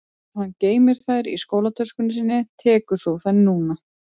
Ef hann geymir þær í skólatöskunni sinni tekur þú þær núna